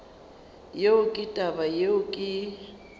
yeo ke taba yeo ke